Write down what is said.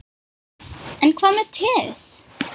En hvað með teið?